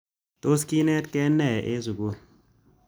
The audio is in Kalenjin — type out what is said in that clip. Tos kinetkei nee eng' sukul